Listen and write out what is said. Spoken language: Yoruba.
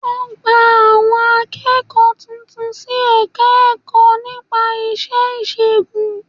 Wọ́n gba àwọn akẹ́kọ̀ọ́ tuntun sí Ẹ̀ka-ẹ̀kọ́ nípa ìṣègùn